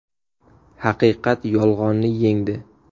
Haqiqat yolg‘onni yengdi.